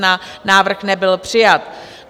Návrh nebyl přijat.